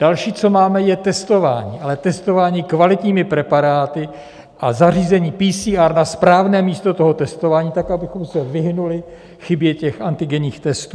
Další, co máme, je testování, ale testování kvalitními preparáty a zařízení PCR na správné místo toho testování tak, abychom se vyhnuli chybě antigenních testů.